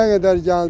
Nə qədər gəldi.